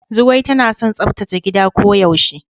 Zugwai tana son tsaftace gida ko yaushe.